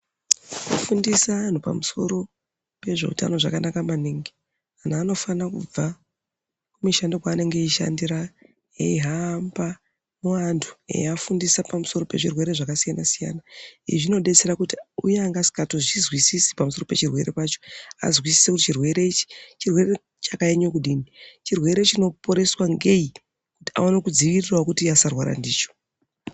Kufundisa anhu pamsoro pezvehutano zvakanaka maningi, vanhu vanofanira kubva kumishando kwaanenge beyishandira beyihamba mubantu, beyibafundisa pamsoro pezvirwere zvakasiyana siyana. Izvi zvinodetsera kuti uya angaasingatozwisisi pamsoro pechirwere pacho, azwisise kuti chirwere chakanyanyokudini. Chirwere chinoporeswa ngeyi? kuti awane kudzivirirawo kuti asawane kurwara ndicho.